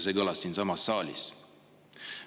See kõlas siinsamas saalis.